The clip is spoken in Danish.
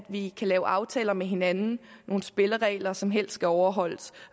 vi kan lave aftaler med hinanden nogle spilleregler som helst skal overholdes